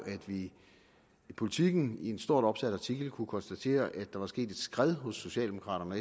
at vi i politiken i en stort opsat artikel kunne konstatere at der var sket et skred hos socialdemokraterne og